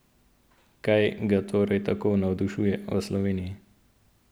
Kaj ga torej tako navdušuje v Sloveniji?